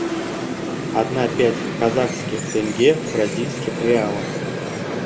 одна пять казахских тенге в бразильских реалах